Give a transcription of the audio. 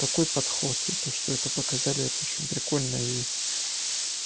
такой подход и то что это показали это очень прикольно и